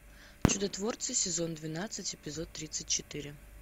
чудотворцы сезон двенадцать эпизод тридцать четыре